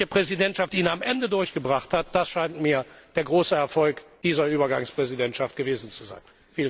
Dass die schwedische Präsidentschaft ihn am Ende durchgebracht hat, das scheint mir der große Erfolg dieser Übergangspräsidentschaft gewesen zu sein.